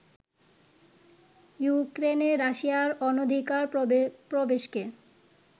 ইউক্রেনে রাশিয়ার অনধিকার প্রবেশকে